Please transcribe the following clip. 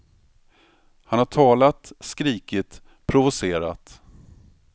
Han har talat, skrikit, provocerat.